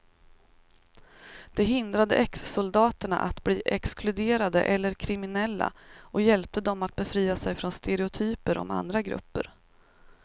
Det hindrade exsoldaterna att bli exkluderade eller kriminella och hjälpte dem att befria sig från stereotyper om andra grupper.